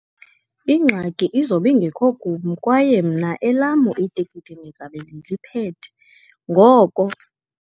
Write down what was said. Ingxaki izobe ingekho kum, kwaye mna elam itikiti ndizabe ndiliphethe ngoko.